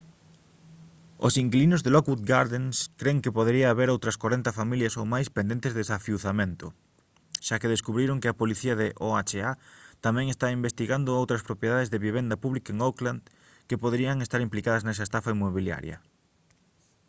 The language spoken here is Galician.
os inquilinos de lockwood gardens cren que podería haber outras 40 familias ou máis pendentes de desafiuzamento xa que descubriron que a policía de oha tamén está investigando outras propiedades de vivenda pública en oakland que poderían estar implicadas nesa estafa inmobiliaria